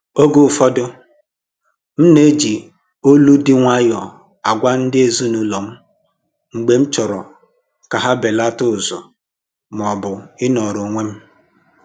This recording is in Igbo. Oge ụfọdụ m ná-eji olu dị nwayọọ agwa ndị ezinụlọ m mgbe m chọrọ ka ha belata ụzụ maọbụ ịnọrọ onwe m